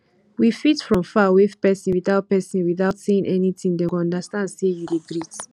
we fit from far wave person without person without saying anything dem go understand sey you dey greet